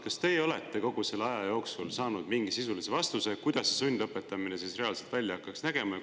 Kas teie olete kogu selle aja jooksul saanud mingi sisulise vastuse, kuidas see sundlõpetamine reaalselt välja hakkaks nägema?